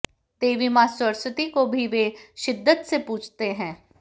देवी मां सरस्वती को भी वे शिद्दत से पूजते हैं